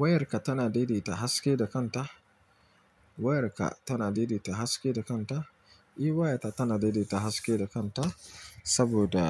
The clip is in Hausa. Wayarka tana daidaita haske da kanta. Wayarka tana daidaita haske da kanta. E, wayata tana daidaita haske da kanta saboda